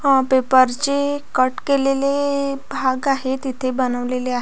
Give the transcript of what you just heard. हा पेपर ची कट केलेले भाग आहे तिथे बनवलेले आहे.